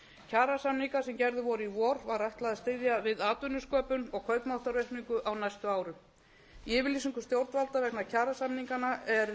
kjarasamningar sem gerðir voru í vor ár ætlað að styðja við atvinnusköpun og kaupmáttaraukningu á næstu árum í yfirlýsingu stjórnvalda vegna kjarasamninganna